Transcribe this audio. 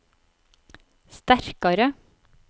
sterkare